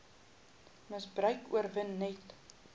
misbruik oorwin net